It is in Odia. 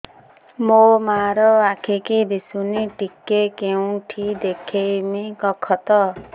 ମୋ ମା ର ଆଖି କି ଦିସୁନି ଟିକେ କେଉଁଠି ଦେଖେଇମି କଖତ